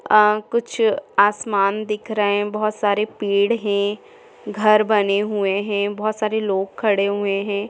आ कुछ आसमान दिख रहे है बहुत सारे पेड़ है घर बने हुए है बहुत सारे लोग खड़े हुए है।